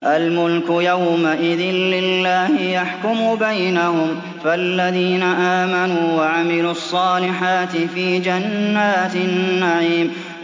الْمُلْكُ يَوْمَئِذٍ لِّلَّهِ يَحْكُمُ بَيْنَهُمْ ۚ فَالَّذِينَ آمَنُوا وَعَمِلُوا الصَّالِحَاتِ فِي جَنَّاتِ النَّعِيمِ